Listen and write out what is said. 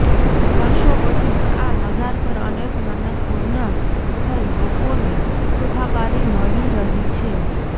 વર્ષો પછી પણ આ મજાર પર અનેક મન્નત પૂર્ણ થઈ લોકોને સુખાકારી મળી રહી છે